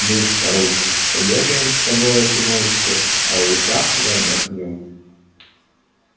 ну старушка побегаем с тобой эту ночку а уж завтра отдохнём